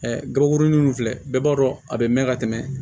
gabakurunin ninnu filɛ bɛɛ b'a dɔn a bɛ mɛn ka tɛmɛ